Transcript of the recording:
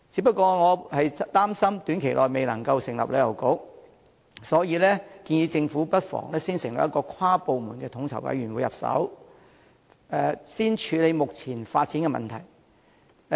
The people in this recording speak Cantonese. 不過，我擔心短期內未能成立旅遊局，故建議政府不妨從成立跨部門的統籌委員會入手，先處理目前的發展問題。